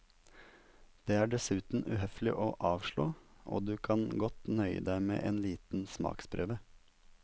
Det er dessuten uhøflig å avslå, og du kan godt nøye deg med en liten smaksprøve.